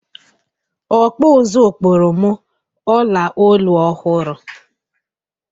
Ọkpụ ụzụ kpụrụ m ọla olu ọhụrụ.